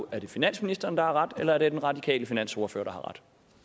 er finansministeren der har ret eller den radikale finansordfører